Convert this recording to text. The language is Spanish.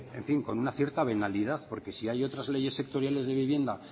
en fin con una cierta venalidad porque si hay otras leyes sectoriales de vivienda